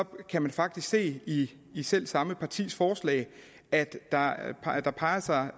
kan man faktisk se i i selv samme partis forslag at der peges